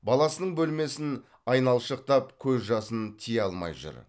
баласының бөлмесін айналшықтап көз жасын тия алмай жүр